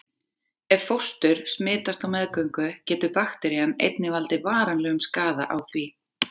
Ef fóstur smitast á meðgöngu getur bakterían einnig valdið varanlegum skaða á því.